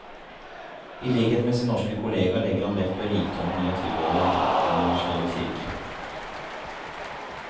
I likhet med sin norske kollega legger han vekt på rikdommen i å tilhøre en universell kirke.